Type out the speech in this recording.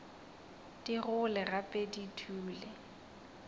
di gole gape di dule